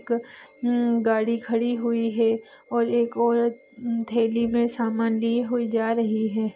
एक गाड़ी खड़ी हुई हैं और एक औरत थैली मे सामान लिए जा रही है।